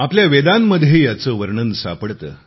आपल्या वेदांमध्ये याचे वर्णन सापडते